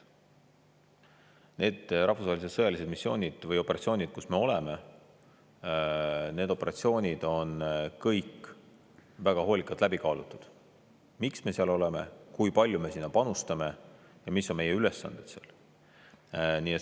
Nende rahvusvaheliste sõjaliste missioonide või operatsioonide puhul, kus me osaleme, on kõik väga hoolikalt läbi kaalutud, miks me seal oleme, kui palju me sinna panustame ja mis on meie ülesanded.